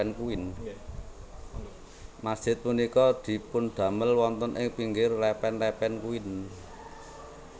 Masjid punika dipundamel wonten ing pinggir lepen Lepen Kuin